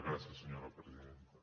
gràcies senyora presidenta